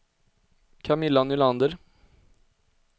Camilla Nylander